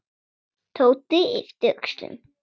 Tóti yppti öxlum.